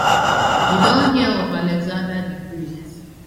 you don hear of alexander di great